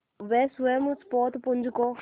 वे स्वयं उस पोतपुंज को